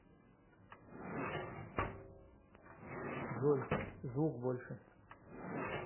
джой звук больше